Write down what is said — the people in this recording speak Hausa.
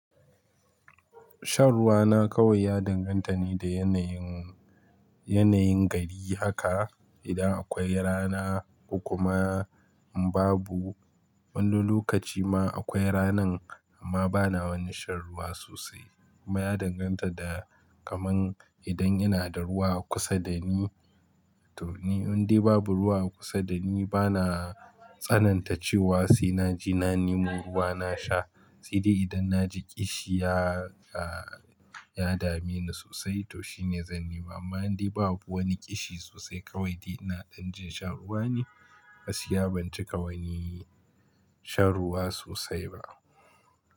Shan ruwa na kawai ya danganta ne da yanayin, yanayin gari haka. Idan akwai rana ko kuma babu wani lokaci ma akwai ranan amma bana wani shan ruwa sosai. Kuma ya danganta da kaman idan ina da ruwa a kusa da ni to ni in dai babu ruwa a kusa da ni bana tsananta cewa sai na ji na nemo ruwa na sha. Sai dai idan na ji ƙishi ya, ya dami ni sosai to shine zan nima. Amma in dai babu wani ƙishi sosai kawai dai ina ɗan jin shan ruwa ne, gaskiya ban cika wani shan ruwa sosai ba.